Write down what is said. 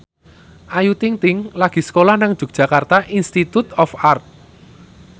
Ayu Ting ting lagi sekolah nang Yogyakarta Institute of Art